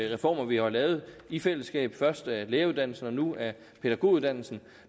reformer vi har lavet i fællesskab først af læreruddannelsen og nu af pædagoguddannelsen